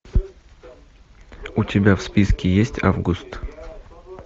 у тебя в списке есть август